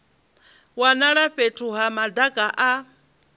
wanala fhethu ha madaka a